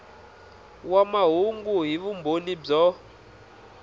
wa mahungu hi vumbhoni byo